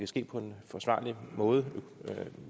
ske på en forsvarlig måde